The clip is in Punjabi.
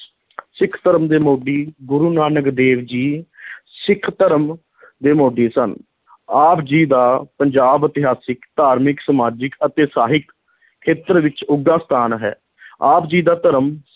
ਸਿੱਖ ਧਰਮ ਦੇ ਮੋਢੀ, ਗੁਰੂ ਨਾਨਕ ਦੇਵ ਜੀ ਸਿੱਖ ਧਰਮ ਦੇ ਮੋਢੀ ਸਨ ਆਪ ਜੀ ਦਾ ਪੰਜਾਬ ਇਤਿਹਾਸਿਕ, ਧਾਰਮਿਕ, ਸਮਾਜਿਕ ਅਤੇ ਸਾਹਿਕ ਖੇਤਰ ਵਿੱਚ ਉੱਘਾ ਸਥਾਨ ਹੈ ਆਪ ਜੀ ਦਾ ਧਰਮ